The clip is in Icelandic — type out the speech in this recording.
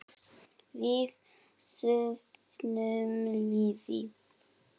Við söfnum liði.